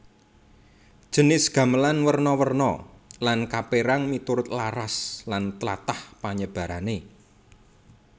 Jinis gamelan werna werna lan kapérang miturut laras lan tlatah panyebarané